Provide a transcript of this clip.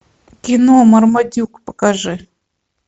кино мармадюк покажи